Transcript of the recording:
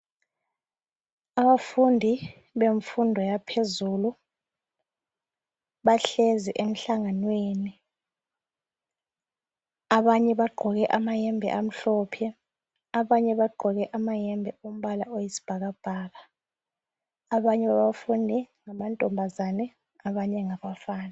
Abafundi bemfundo yaphezulu bahlezi emhlanganweni abanye bagqoke amayembe amhlophe abanye bagqoke amayembe ombala oyisibhakabhaka abanye abafundi ngamantombazane abanye ngabafana.